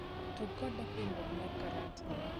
tug koda pimruok mar karata